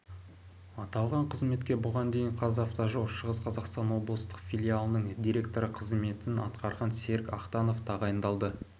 аталған қызметке бұған дейін қазавтожол шығыс қазақстан облыстық филиалының директоры қызметін атқарған серік ақтанов тағайындалды